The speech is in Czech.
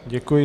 Děkuji.